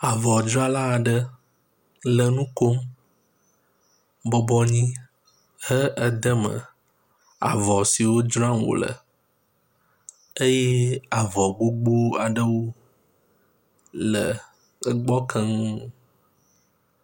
Avɔdzrala aɖe le nu kom, bɔbɔ anyi, he ede me avɔ siwo dzram wòle eye avɔ gbogbowo aɖewo le gbɔ kem.